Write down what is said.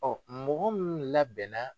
mɔgɔ min labɛnna.